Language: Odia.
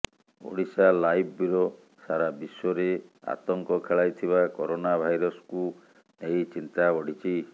ଓଡ଼ିଶାଲାଇଭ୍ ବ୍ୟୁରୋ ସାରା ବିଶ୍ୱରେ ଆତଙ୍କ ଖେଳାଇଥିବା କରୋନା ଭାଇରସ୍କୁ ନେଇ ଚିନ୍ତା ବଢ଼ିଛି